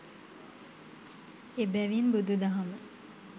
එබැවින් බුදුදහම